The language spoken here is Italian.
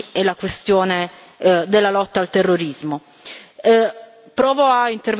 tra il tema dei migranti e la questione della lotta al terrorismo.